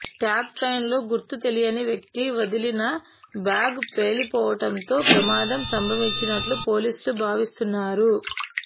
tab ట్రెయిన్లో గుర్తు తెలియని వ్యక్తి వదిలిన బ్యాగ్ పేలిపోవటంతో ప్రమాదం సంభవించినట్లు పోలీసులు భావిస్తున్నారు